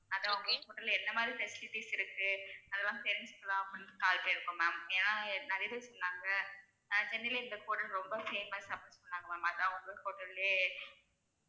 அதான் உங்க hotel ல எந்த மாதிரி facilities இருக்கு அதெல்லாம் தெரிஞ்சிக்கலாம் அப்படினு call பண்ணிருக்கோம் ma'am ஏனா நிறைய பேரு சொன்னாங்க அஹ் சென்னைல இந்த hotel ரொம்ப famous அப்படின்னு சொன்னாங்க ma'am அதா உங்க hotel லயே